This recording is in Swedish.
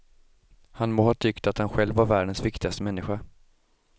Han må ha tyckt att han själv var världens viktigaste människa.